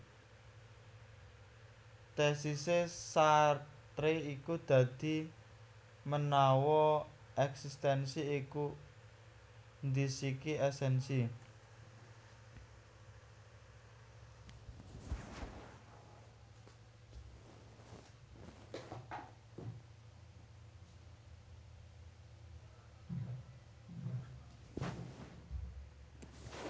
Tésisé Sartre iku dadi menawa èksistènsi iku ndhisiki èsènsi